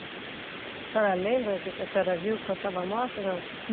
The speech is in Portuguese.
A senhora lembra o que que a senhora viu quando estava morta, não?